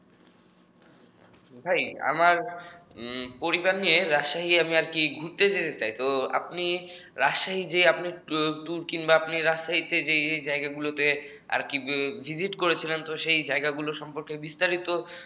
ভাই আমার পরিবার নিয়ে উম রাজশাহী আমি আর কি ঘুরতে যেতে চাই তো আপনি রাজশাহীতে যে টু্্যুর আর কিংবা রাজশাহীতে যেই যেই জায়গাগুলো ভিজিট আর কি করেছেন সেই জায়গাগুলো সম্পর্কে বিস্তারিত